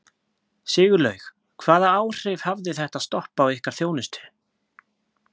Sigurlaug, hvaða áhrif hafði þetta stopp á ykkar þjónustu?